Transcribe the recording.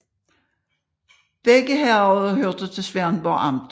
Begge herreder hørte til Svendborg Amt